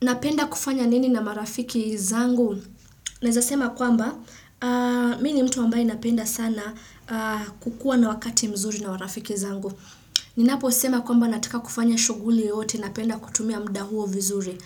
Napenda kufanya nini na marafiki zangu? Naweza sema kwamba, mimi ni mtu ambaye napenda sana kukua na wakati mzuri na marafiki zangu. Ninaposema kwamba nataka kufanya shughuli yote napenda kutumia muda huo vizuri.